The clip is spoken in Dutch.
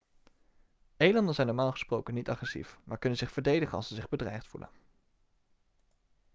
elanden zijn normaal gesproken niet agressief maar kunnen zich verdedigen als ze zich bedreigd voelen